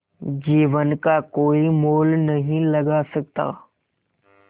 जीवन का कोई मोल नहीं लगा सकता